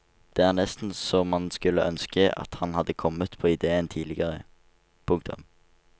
Det er nesten så man skulle ønske at han hadde kommet på idéen tidligere. punktum